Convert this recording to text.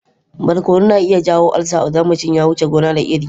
Barkono na iya jawo ulcer idan mutum ya wuce gona da iri.